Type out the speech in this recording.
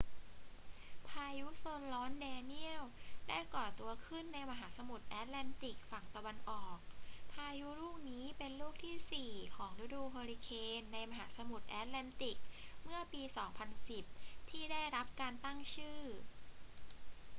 พายุโซนร้อนแดเนียลได้ก่อตัวขึ้นในมหาสมุทรแอตแลนติกฝั่งตะวันออก พายุลูกนี้เป็นลูกที่สี่ของฤดูเฮอริเคนในมหาสมุทรแอตแลนติกเมื่อปี 2010 ที่ได้รับการตั้งชื่อ